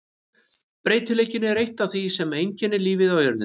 Breytileikinn er eitt af því sem einkennir lífið á jörðinni.